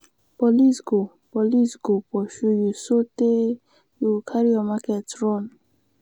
police go police go pursue you sotee you go carry your market run.